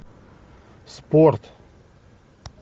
спорт